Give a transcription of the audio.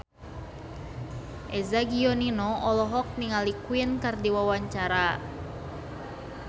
Eza Gionino olohok ningali Queen keur diwawancara